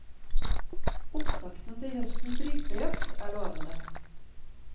Opptakten til høstens rypejakt er lovende.